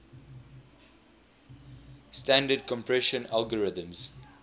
standard compression algorithms